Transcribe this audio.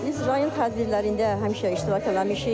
Biz rayon tədbirlərində həmişə iştirak eləmişik.